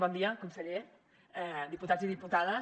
bon dia conseller diputats i diputades